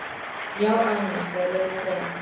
Já afi minn sagði Lilla fegin.